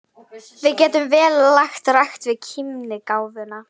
Við getum vel lagt rækt við kímnigáfuna.